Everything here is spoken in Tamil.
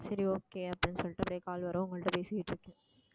சரி okay அப்படின்னு சொல்லிட்டு போய் call வரும் உங்கள்ட்ட பேசிக்கிட்டு இருக்கேன்